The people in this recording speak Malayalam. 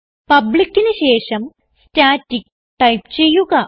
publicന് ശേഷം സ്റ്റാറ്റിക് ടൈപ്പ് ചെയ്യുക